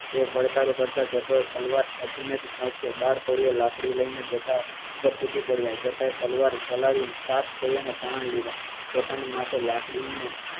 એવો પડકારો કરતા જટો તલવાર ખેચી ને પહોંચ્યો બાર કોળી લાકડી લઈ ને જટા ઉપર તૂટી પડ્યા. જટા તલવાર ચલાવી સાત કોડિયા ના પ્રાણ લીધા પોતાના પર લાકડી નો